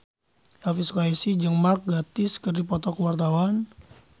Elvy Sukaesih jeung Mark Gatiss keur dipoto ku wartawan